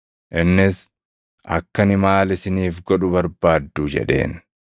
Innis, “Akka ani maal isiniif godhu barbaaddu?” jedheen.